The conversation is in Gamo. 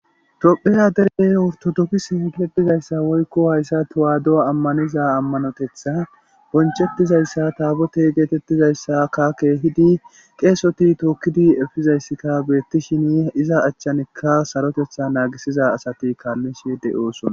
Topheya dere awtodopfis hegeetizayssa woykko hayssa tuwaado ammaniza ammanotetha bonchettizayssa taabote geetettizayssa kakeehidi qeesoti tookkidi efizayssika beettishini iza achchanikka sarotetha naagisiza asati kaallishe de'oosona